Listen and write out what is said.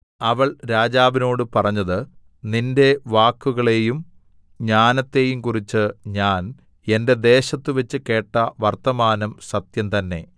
അവൾ രാജാവിനോട് പറഞ്ഞത് നിന്റെ വാക്കുകളെയും ജ്ഞാനത്തെയും കുറിച്ച് ഞാൻ എന്റെ ദേശത്തുവെച്ച് കേട്ട വർത്തമാനം സത്യംതന്നേ